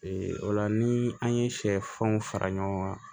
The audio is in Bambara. o la ni an ye sɛfanw fara ɲɔgɔn kan